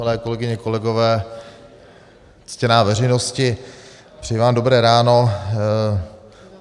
Milé kolegyně, kolegové, ctěná veřejnosti, přeji vám dobré ráno.